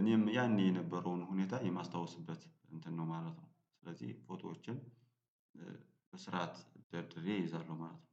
እኔም ያኔ የነበረውን ሁኔታ የማስታውስበት እንትን ነው ማለት ነው። ስለዚህ ፎቶዎቼን በስርዓት ደርድሬ እይዛለሁ ማለት ነው